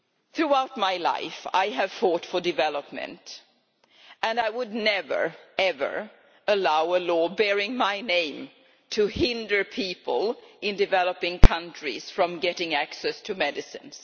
Throughout my life I have fought for development, and I would never, ever allow a law bearing my name to hinder people in developing countries from getting access to medicines.